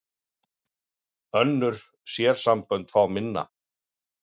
Önnur sérsambönd fá minna